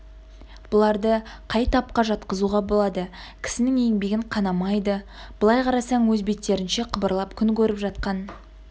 бұларды қай тапқа жатқызуға болады кісінің еңбегін қанамайды былай қарасаң өз беттерінше қыбырлап күн көріп жатқан